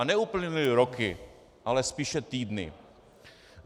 A neuplynuly roky, ale spíše týdny.